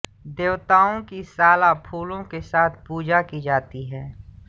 देवताओं की साला फूलों के साथ पूजा की जाती है